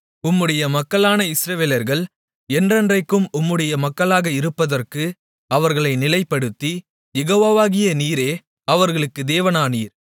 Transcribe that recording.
உம்முடைய மக்களான இஸ்ரவேலர்கள் என்றென்றைக்கும் உம்முடைய மக்களாக இருப்பதற்கு அவர்களை நிலைப்படுத்தி யெகோவாவாகிய நீரே அவர்களுக்குத் தேவனானீர்